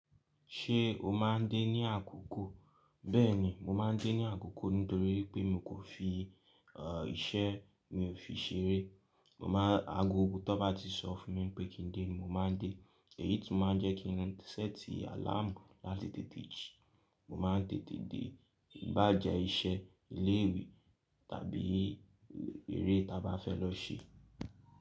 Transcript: Ṣé o máa ń dé ní àkókò? Bẹ́ẹ̀ni, mo máa ń dé ní àkókò nítorí pé mi kò fi, iṣẹ́ mi ò fi ṣeré. Mo máa-- agogo tán bá ti sọ fún mi pé kí n dé ni mo máa ń dé, èyí tí máa ń jẹ́ kí n ránti sẹti àláàmù láti tètè jí. Mo máa ń tètè dé iba jẹ iṣẹ́, ilé ìwé tàbí eré ta bá fẹ́ lọ ṣe.